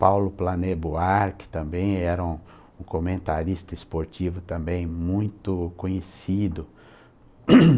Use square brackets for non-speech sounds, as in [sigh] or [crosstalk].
Paulo Planê-Boar, que também era um comentarista esportivo também, muito conhecido. [coughs]